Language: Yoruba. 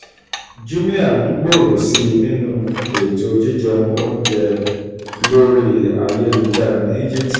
jumia n gbòòrò sí i nínú ètò jíjẹun oúnjẹ lórí ayélujára ní egypt